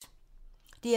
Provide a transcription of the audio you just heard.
DR2